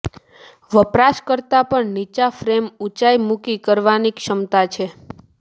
વપરાશકર્તા પણ નીચા ફ્રેમ ઊંચાઇ મૂકી કરવાની ક્ષમતા છે